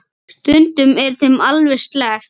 Stundum er þeim alveg sleppt.